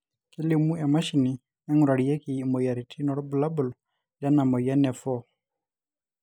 kelimu emashini naingurarieki imoyiaritin irbulabol lena moyian e for